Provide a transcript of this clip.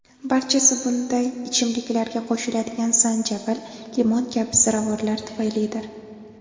Barchasi bunday ichimliklarga qo‘shiladigan zanjabil, limon kabi ziravorlar tufaylidir.